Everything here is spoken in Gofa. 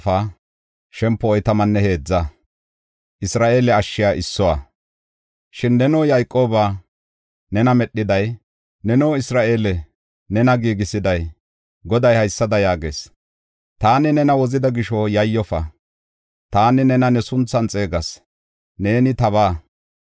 Shin neno Yayqoobaa nena medhiday, neno Isra7eele, nena giigisiday, Goday haysada yaagees: “Taani nena wozida gisho yayyofa; taani nena ne sunthan xeegas; neeni tabaa.